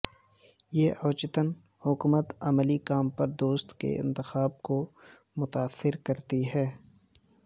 یہ اوچیتن حکمت عملی کام پر دوست کے انتخاب کو متاثر کرتی ہے